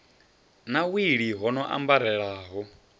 na wili ho no ambarelaho